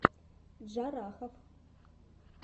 джарахов